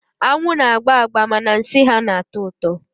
Anwụ na-agba agba mana nsị ha na-atọ ụtọ.